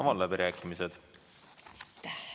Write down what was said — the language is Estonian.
Avan läbirääkimised.